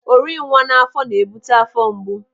Orinwa n'afọ na-ebute afọ mgbu.